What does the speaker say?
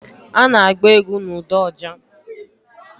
Ha na-agba egwu na ụda oja